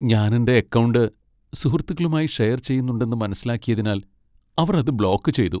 ഞാൻ എന്റെ അക്കൗണ്ട് സുഹൃത്തുക്കളുമായി ഷെയർ ചെയ്യുന്നുണ്ടെന്ന് മനസ്സിലാക്കിയതിനാൽ അവർ അത് ബ്ലോക്ക് ചെയ്തു.